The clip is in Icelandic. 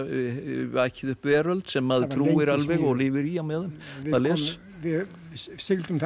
vakið upp veröld sem maður trúir alveg og lifir í á meðan maður les við sigldum þarna